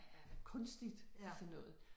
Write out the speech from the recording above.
Øh kunstigt og sådan noget